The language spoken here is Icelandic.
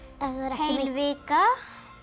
heil vika